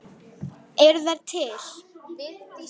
Stend lengi við rúmið hennar.